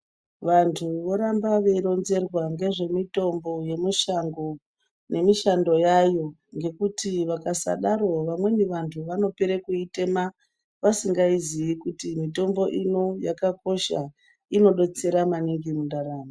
Vantu voramba veironzerwa ngezvemitombo yemushango, nemishando yayo, ngekuti vakasadaro vamweni vantu vanopere kuitema, vasingaiziyi kuti mitombo ino yakakosha, inodotsera maningi mundaramo.